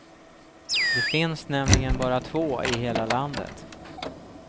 Det finns nämligen bara två i hela landet.